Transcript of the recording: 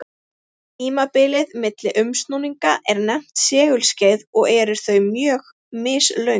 Tímabilið milli umsnúninga er nefnt segulskeið og eru þau mjög mislöng.